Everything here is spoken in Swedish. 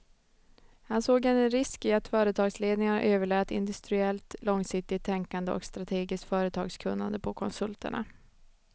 Han såg en risk i att företagsledningarna överlät industriellt långsiktigt tänkande och strategiskt företagskunnande på konsulterna.